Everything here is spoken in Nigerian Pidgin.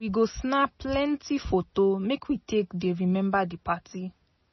We go snap plenty foto make we take dey remember di party.